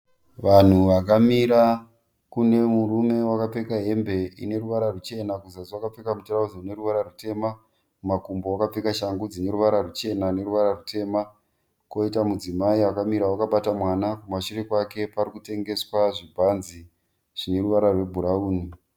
Vanhu vakamira. Kune murume wakapfeka hembe ine ruvara ruchena kuzasi akapfeka rutirauzi rune ruvara rutema. Kumakumbo wakapfeka shangu dzine ruvara ruchena neruva rutema. Kwoita mudzimai akamira akabata mwana kumashure kwake parikutengeswa zvibhanzi zvine ruvara rwebhurawuni.